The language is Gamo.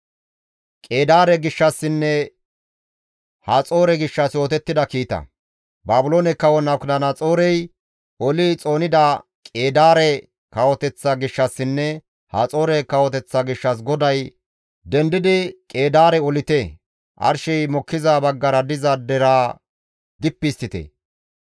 Baabiloone kawo Nabukadanaxoorey oli xoonida Qeedaare kawoteththa gishshassinne Haxoore kawoteththa gishshas GODAY, «Dendidi Qeedaare olite! Arshey mokkiza baggara diza deraa dippi histtite.